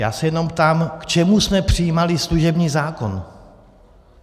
Já se jenom ptám, k čemu jsme přijímali služební zákon?